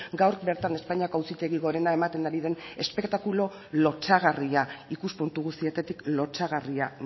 gaur bertan espainiako auzitegi gorena ematen ari den espektakulu lotsagarria ikuspuntu guztietatik lotsagarria